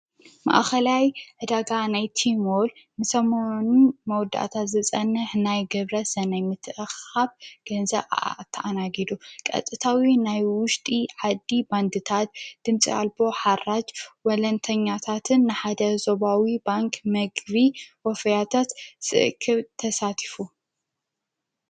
ማኣኸላይ ኣዳጋ ናይት ሞል ምሰመንን መወዳኣታት ዝጸን ሕናይ ገብረ ሠናይ ምትአኻብ ገንዘ ተኣናጊዱ ቐጥታዊ ናይ ውሽጢ ዓዲ ባንድታት ድምፂ ኣልቦ ሓራጅ ወለንተኛታትን ሓደ ዞባዊ ባንክ መግሪ ኦፈያቶት ስእክብ ተሳቲፉ::